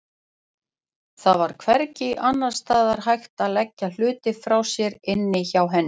Það var hvergi annars staðar hægt að leggja hluti frá sér inni hjá henni.